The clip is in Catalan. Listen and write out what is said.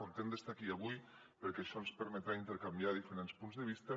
content d’estar aquí avui perquè això ens permetrà intercanviar diferents punts de vista